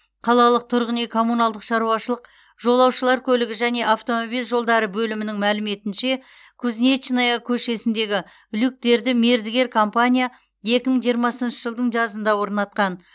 қалалық тұрғын үй коммуналдық шаруашылық жолаушылар көлігі және автомобиль жолдары бөлімінің мәліметінше кузнечная көшесіндегі люктерді мердігер компания екі мың жиырмасыншы жылдың жазында орнатқан